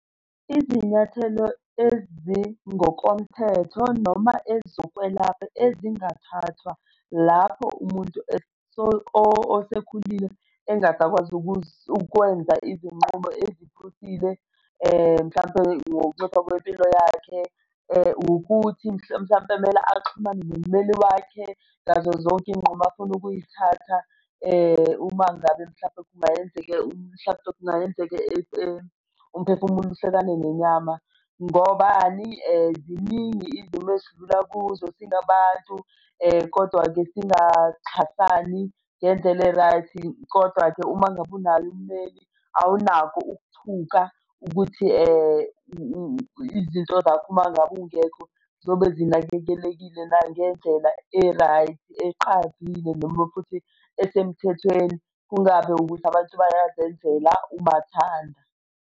Izinyathelo ezingokomthetho noma ezokwelapha ezingathathwa lapho umuntu osekhulile engasakwazi ukwenza izinqumo eziphusile mhlampe ngokunciphisa kwempilo yakhe ukuthi mhlampe kumele axhumane nommeli wakhe ngazo zonke iy'nqumo afuna ukuy'thatha uma ngabe mhlampe kungayenzeka mhlampe kungayenzeka umphefumulo uhlukane nenyama. Ngobani? Ziningi izinto esidlula kuzo singabantu, kodwa-ke singaxhasani ngendlela e-right. Kodwa-ke uma ngabe unaye ummeli, awunakho ukuthuthuka ukuthi izinto zakho uma ngabe ungekho zobe zinakekelekile na? Ngendlela e-right eqavile noma futhi esemthethweni, kungabi ukuthi abantu bayazenzela umathanda.